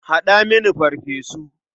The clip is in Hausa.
Haɗa mini farfesu.